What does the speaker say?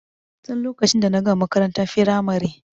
Tin lokacin da na gama makarantar firamare.